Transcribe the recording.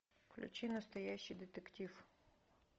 включи настоящий детектив